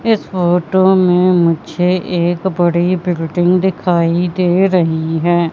इस फोटो में मुझे एक बड़ी बिल्डिंग दिखाई दे रहीं हैं।